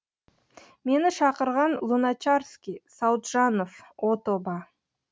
мені шақырған луначарский сауытжанов о тоба